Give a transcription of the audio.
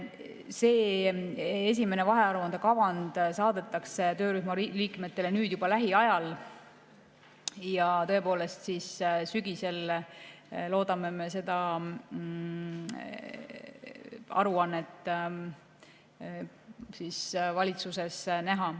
See esimene vahearuande kavand saadetakse töörühma liikmetele juba lähiajal ja sügisel loodame me seda aruannet valitsuses näha.